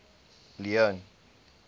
leone